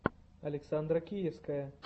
александра киевская